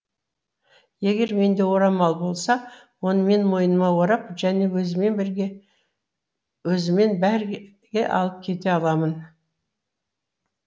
егер менде орамал болса оны мен мойныма орап және өзіммен бірге алып кете аламын